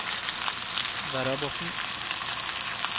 Verrabotn